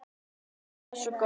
Það er svo gott!